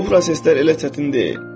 Bu proseslər elə çətin deyil.